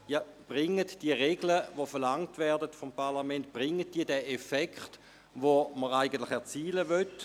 Zeitigen diese Regeln, die vom Parlament verlangt werden, die Wirkung, die man erzielen möchte?